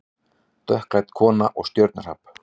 Dökkklædd kona og stjörnuhrap